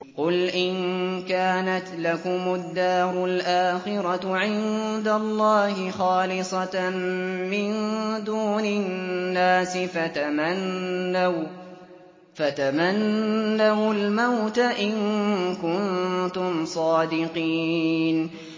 قُلْ إِن كَانَتْ لَكُمُ الدَّارُ الْآخِرَةُ عِندَ اللَّهِ خَالِصَةً مِّن دُونِ النَّاسِ فَتَمَنَّوُا الْمَوْتَ إِن كُنتُمْ صَادِقِينَ